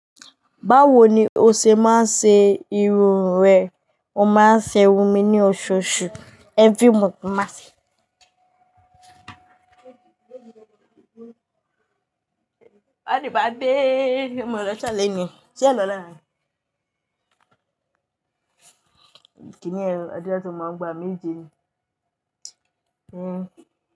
Báwo ni o ṣe máa ń ṣe irun rẹ? Mo máa ń ṣe irun mi ní oṣooṣù. Every month mo máa ṣe. Ẹni bá gbée, ṣé ẹ lọ lọ́la ni? Kí ni yẹn, àdúrà tó máa ń gba méje ni? Éh.